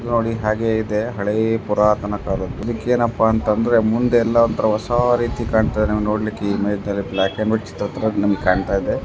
ಇಲ್ನೋ ಡಿ ಹಾಗೆ ಇದೆ ಹಳೇ ಪುರಾತನ ಕಾಲದ್ದು ಇದಕ್ಕೆ ಏನಪ್ಪಾ ಅಂದ್ರೆ ಮುಂದೆ ಎಲ್ಲ ಒಂತರ ಹೊಸ ರೀತಿ ಹಾಗೆ ಕಣ್ಣ್ತ್ ಇದೆ ನೋಡ್ಲಿಕ್ಕೆ ಇಮೇಜ್ಬ್ಲಾ ಅಲ್ಲಿ ಬ್ಲಾಕ್ ಅಂಡ್ ವೈಟ್ ಚಿತ್ರದ್ ತರ ನಮಗೆ ಕಾಣ್ಣ್ತ್ ಇದೆ .